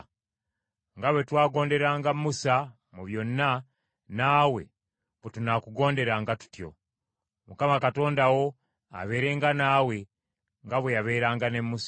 Nga bwe twagonderanga Musa mu byonna naawe bwe tunaakugonderanga tutyo; Mukama Katonda wo abeerenga naawe nga bwe yabeeranga ne Musa.